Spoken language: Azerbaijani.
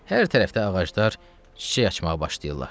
Hər tərəfdə ağaclar çiçək açmağa başlayırlar.